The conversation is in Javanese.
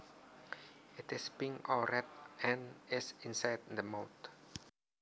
It is pink or red and is inside the mouth